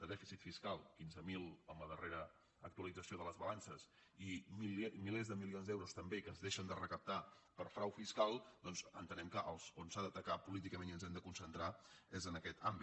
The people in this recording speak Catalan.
de dèficit fiscal quinze mil amb la darrera actualització de les balances i milers de milions d’euros també que es deixen de recaptar per frau fiscal doncs entenem que on s’ha d’atacar políticament i ens hem de concentrar és en aquest àmbit